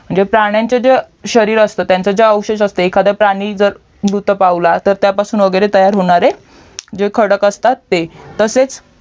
म्हणजे प्राण्यांच्या जे शरीर असतं अवशेष असते एखादा प्राणी जर मृत्यू पावला त्यापासून तयार होणारे जे खडक असतात ते तसेच